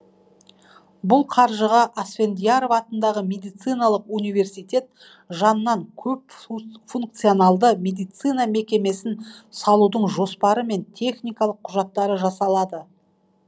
бұл қаржыға асфендияров атындағы медициналық университет жанынан көп функционалды медицина мекемесін салудың жоспары мен техникалық құжаттары жасалады